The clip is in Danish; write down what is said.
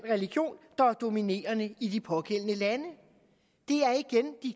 religion der er dominerende i de pågældende lande